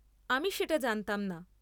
আমি সেটা জানতাম না।